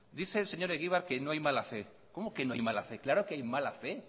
dice el señor egibar que no hay mala fe cómo que no hay mala fe claro que hay mala fe